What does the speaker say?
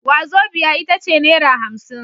Wazobia itace naira hamsin